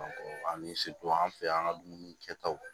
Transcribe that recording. ani an fɛ yan ka dumuni kɛ taw